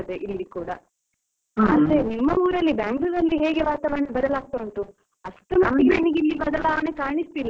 ಆದ್ರೆ ನಿಮ್ಮ ಊರಲ್ಲಿ Bangalore ಅಲ್ಲಿ ವಾತಾವರಣ ಬದಲಾಗ್ತಾ ಉಂಟು, ಅಷ್ಟರಮಟ್ಟಿಗೆ ಇಲ್ಲಿ ಬದಲಾವಣೆ ಕಾಣಿಸ್ತಿಲ್ಲ ಅಂತಾ ಅನ್ನಿಸ್ತದೆ.